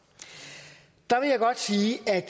der vil jeg godt sige at